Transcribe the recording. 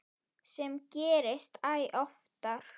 Sem gerist æ oftar.